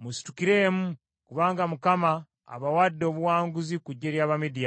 “Musitukiremu; kubanga Mukama abawadde obuwanguzi ku ggye ly’Abamidiyaani.”